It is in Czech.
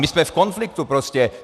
My jsme v konfliktu prostě.